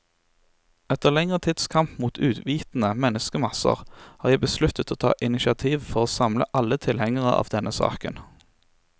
Etter lengre tids kamp mot uvitende menneskemasser, har jeg besluttet å ta initiativet for å samle alle tilhengere av denne saken.